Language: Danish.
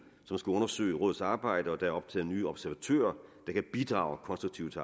som skal undersøge rådets arbejde og der er optaget nye observatører der kan bidrage konstruktivt